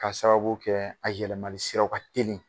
K'a sababu kɛ a yɛlɛmali siraw ka telin